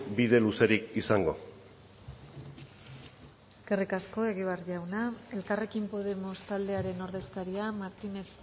bide luzerik izango eskerrik asko egibar jauna elkarrekin podemos taldearen ordezkaria martínez